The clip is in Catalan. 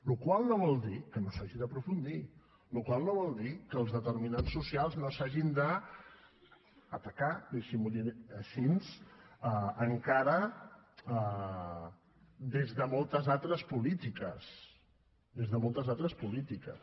la qual cosa no vol dir que no s’hi hagi d’aprofundir la qual cosa no vol dir que els determinants socials no s’hagin d’atacar deixi m’ho dir així encara des de moltes altres polítiques des de moltes altres polítiques